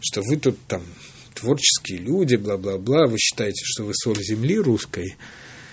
что вы тут там творческие люди бла бла бла вы считаете что вы соль земли русской